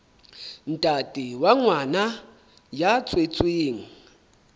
ntate wa ngwana ya tswetsweng